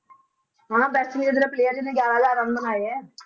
ਹਾਂ West Indies ਦਾ player ਜਿਹਨੇ ਗਿਆਰਾਂ ਹਜ਼ਾਰ ਰਨ ਬਣਾਏ ਹੈ